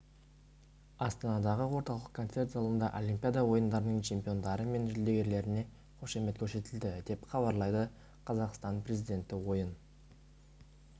астанадағы орталық концерт залында олимпиада ойындарының чемпиондары мен жүлдегерлеріне қошемет көрсетілді деп хабарлайды қазақстан президенті ойын